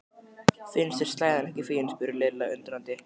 Finnst þér slæðan ekki fín? spurði Lilla undrandi.